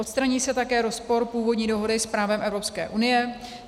Odstraní se také rozpor původní dohody s právem Evropské unie.